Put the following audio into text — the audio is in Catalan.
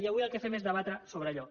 i avui el que fem és debatre sobre allò